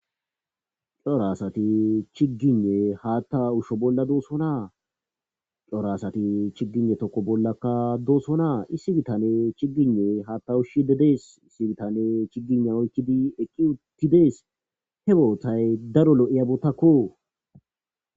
Cora asati chiggiyne haatta ushsho bolla doosso naacora asati chiggiyne tokko bollakka dooso naa issi bitane chigine haatta ushshidi dees issi bitane chigina oykkidi eqqi uttidees he bootay daro lo'iyabattakko